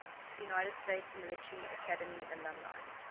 united states military academy alumni